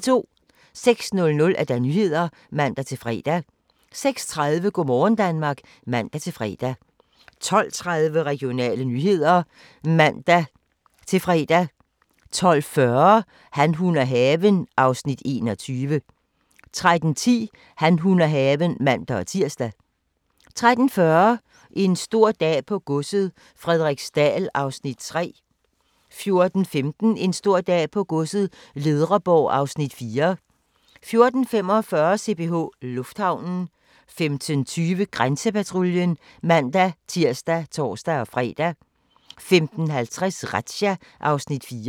06:00: Nyhederne (man-fre) 06:30: Go' morgen Danmark (man-fre) 12:30: Regionale nyheder (man-fre) 12:40: Han, hun og haven (Afs. 21) 13:10: Han, hun og haven (man-tir) 13:40: En stor dag på godset - Frederiksdal (Afs. 3) 14:15: En stor dag på godset - Ledreborg (Afs. 4) 14:45: CPH Lufthavnen 15:20: Grænsepatruljen (man-tir og tor-fre) 15:50: Razzia (Afs. 4)